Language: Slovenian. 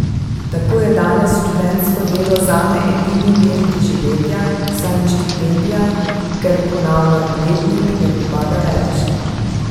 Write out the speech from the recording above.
Tako je danes študentsko delo zame edini vir preživetja, saj mi štipendija, ker ponavljam letnik, ne pripada več.